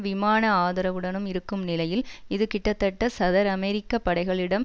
விமான ஆதரவுடனும் இருக்கும் நிலையில் இது கிட்டத்தட்ட சதர் அமெரிக்க படைகளிடம்